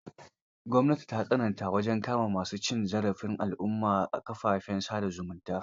Gwamnati ta tsananta wajen kama ma su cin zarafi al'umma a kafafen sa da zumunta.